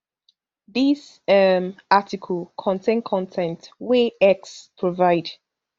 dis um article contain con ten t wey x provide